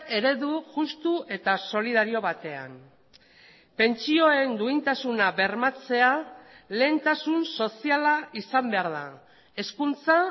eredu justu eta solidario batean pentsioen duintasuna bermatzea lehentasun soziala izan behar da hezkuntza